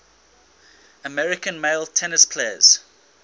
american male tennis players